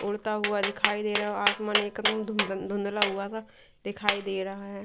उड़ता हुआ दिखाई दे रहा है आसमान एकदम धुंधला हुआ सा दिखाई दे रहा है।